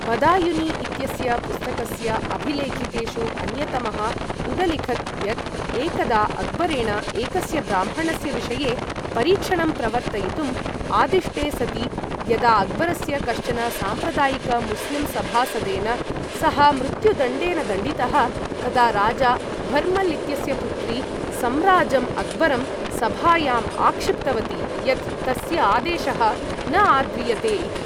बदायुनी इत्यस्य पुस्तकस्य अभिलेखितेषु अन्यतमः उदलिखत् यत् एकदा अक्बरेण एकस्य ब्राह्मणस्य विषये परीक्षणं प्रवर्तयितुं आदिष्टे सति, यदा अक्बरस्य कश्चन साम्प्रदायिक मुस्लिम् सभासदेन सः मृत्युदण्डेन दण्डितः, तदा राजा भर्मल् इत्यस्य पुत्री सम्राजम् अक्बरं सभायाम् आक्षिप्तवती यत् तस्य आदेशः न आद्रियते इति।